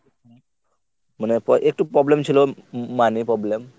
মানে প~ একটু problem ছিলো। m~ money problem.